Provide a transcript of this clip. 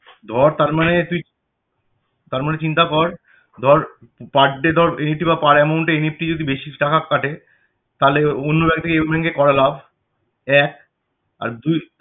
ধর তার মানে তুই তার মানে চিন্তা কর ধর per day ধর NEFT বা per amountNEFT যদি টাকা কাটে তাহলে অন্য bank থেকে এই bank এ করা লাভ এক